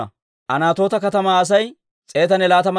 Nabo katamaa Asay 52.